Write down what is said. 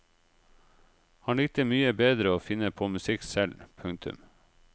Han likte mye bedre å finne på musikk selv. punktum